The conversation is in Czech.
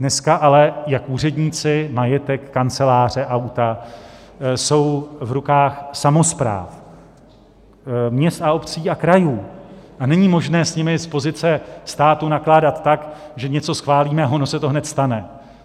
Dneska ale jak úředníci, majetek, kanceláře, auta, jsou v rukách samospráv měst a obcí a krajů a není možné s nimi z pozice státu nakládat tak, že něco schválíme a ono se to hned stane.